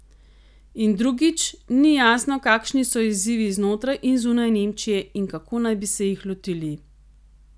In drugič, ni jasno, kakšni so izzivi znotraj in zunaj Nemčije in kako naj bi se jih lotili.